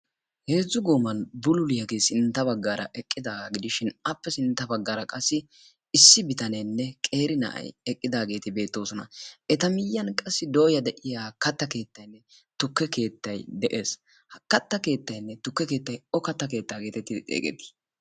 Heezzu gooman bululiyagee sintta baggaara eqqidaagaa gidishin appe sintta baggaara qassi issi bitaneenne qeeri na'ayi eqqidaageeti beettoosona. Eta miyyiyan qassi dooya de"iya katta keettayinne tukke keettayi de'es. Ha katta keettayinne tukke keettayi O katta keettaa go xeegettii?